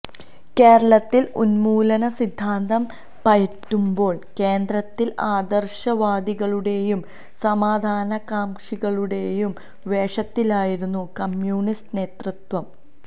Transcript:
കേരളത്തില് ഉന്മൂലന സിദ്ധാന്തം പയറ്റുമ്പോള് കേന്ദ്രത്തില് ആദര്ശവാദികളുടെയും സമാധാനകാംക്ഷികളുടെയും വേഷത്തിലായിരുന്നു കമ്മ്യൂണിസ്റ്റ് നേതൃത്വം